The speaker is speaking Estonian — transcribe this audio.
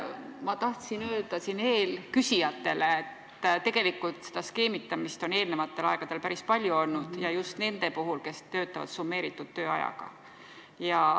Ma tahtsin öelda eelküsijatele, et seda skeemitamist on eelnevatel aegadel päris palju olnud ja just nende puhul, kes töötavad summeeritud tööajaga.